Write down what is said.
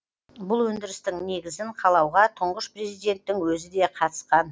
бұл өндірістің негізін қалауға тұңғыш президенттің өзі де қатысқан